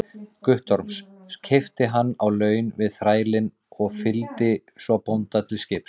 Guttorms, keypti hann á laun við þrælinn og fylgdi svo bónda til skips.